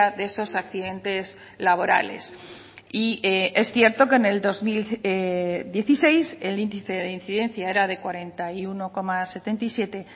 de esos accidentes laborales y es cierto que en el dos mil dieciséis el índice de incidencia era de cuarenta y uno coma setenta y siete